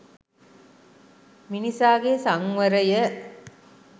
මිනිසා ගේ සංවරය